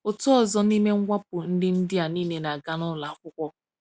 Otu ọzọ n’ime mwakpo ndị ndị a niile na-aga n’ụlọ akwụkwọ.